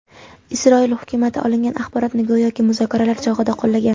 Isroil hukumati olingan axborotni go‘yoki, muzokaralar chog‘ida qo‘llagan.